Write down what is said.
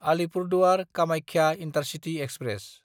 Alipurduar Kamakhya intercity express